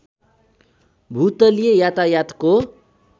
भूतलीय यातायातको